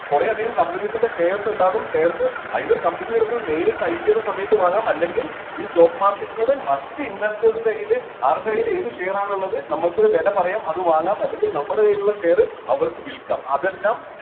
കുറെ അധികം companies ൻ്റെ shares ഇണ്ടാകും shares either company യുടെ അടുത്ത് നിന്ന് നേരിട്ട് IPO ൻ്റെ സമയത്ത് വാങ്ങാം അല്ലെങ്കിൽ ഈ stock market ലൂടെ മറ്റ് investors ൻ്റെ കൈയില് ആരുടെ കൈയില് ഏത് share ആണോ ഉള്ളത് നമ്മൾക്ക് ഒരു വില പറയാം അത് വാങ്ങാം അല്ലെങ്കിൽ നമ്മുടെ കൈയിലുള്ള share അവർക്ക് വിൽക്കാം അതെല്ലാം